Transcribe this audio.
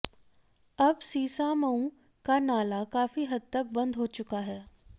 अब सीसामऊ का नाला काफी हद तक बंद हो चुका है